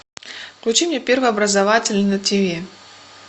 включи мне первый образовательный на тв